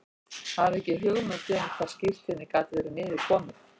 Ég hafði ekki hugmynd um hvar skírteinið gat verið niður komið.